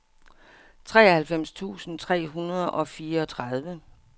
treoghalvfems tusind tre hundrede og fireogtredive